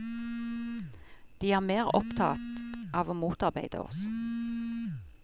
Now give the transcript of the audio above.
De er mer opptatt av å motarbeide oss.